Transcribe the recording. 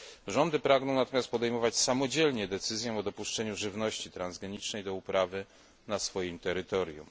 Rządy pragną natomiast samodzielnie podejmować decyzję o dopuszczeniu żywności transgenicznej do uprawy na swoim terytorium.